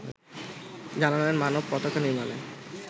জানালেন মানব পতাকা নির্মাণে